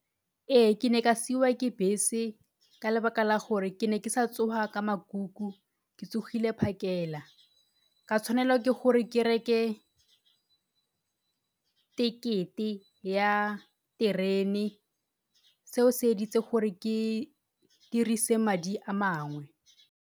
Ee, ke ne ka siwa ke bese ka lebaka la gore ke ne ke sa tsoga ka makuku ke tsogile phakela. Ka tshwanela ke gore ke reke tekete ya terene, seo se editse gore ke dirise madi a mangwe.